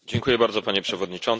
Panie Przewodniczący!